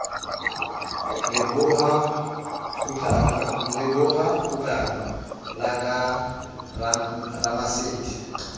leboha kgutlana la ka ramasedi